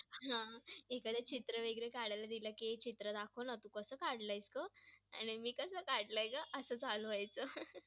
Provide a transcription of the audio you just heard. लावणी खूप ठिकाणी लावणीचे लावणी बघण्यासाठी खूप लोक येतात.मला पण लावणीही खूप लावणी हे बघायला खूप आवडते.